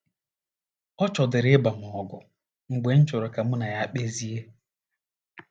Ọ chọdịrị ịba m ọgụ mgbe m chọrọ ka mụ na ya kpezie.